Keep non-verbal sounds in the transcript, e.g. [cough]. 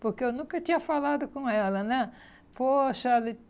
porque eu nunca tinha falado com ela, né. Poxa [unintelligible]